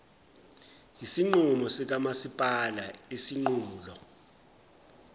yesinqumo sikamasipala isinqulo